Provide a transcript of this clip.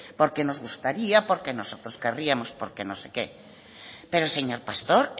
porque nos gustaría porque nosotros querríamos porque no sé qué pero señor pastor